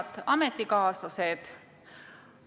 Head ametikaaslased!